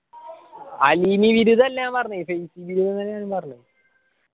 അല്ല പറഞ്ഞത് പറഞ്ഞത്